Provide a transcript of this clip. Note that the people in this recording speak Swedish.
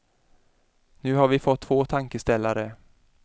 Nu har vi fått två tankeställare.